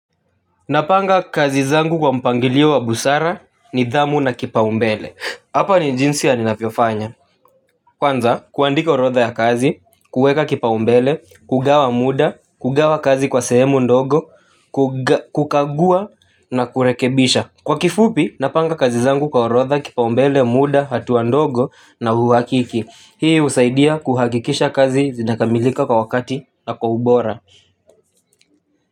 Napanga kazi zangu kwa mpangilio wa busara ni dhamu na kipa umbele, hapa ni jinsi ya ninafyo fanya. Kwanza, kuandika orotha ya kazi, kueka kipa umbele, kugawa muda, kugawa kazi kwa sehemu ndogo, kukagua na kurekebisha. Kwa kifupi, napanga kazi zangu kwa orotha, kipa umbele, muda, hatuwa ndogo na huwakiki. Hii usaidia kuhakikisha kazi zinakamilika kwa wakati na kwa ubora.